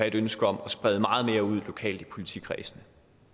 et ønske om at sprede meget mere ud lokalt i politikredsene